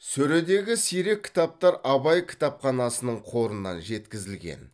сөредегі сирек кітаптар абай кітапханасының қорынан жеткізілген